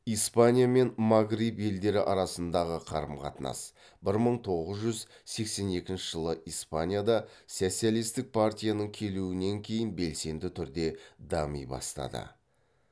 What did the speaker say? испания мен магриб елдері арасындағы қарым қатынас бір мың тоғыз жүз сексен екінші жылы испанияда социалистік партияның келуінен кейін белсенді түрде дами бастады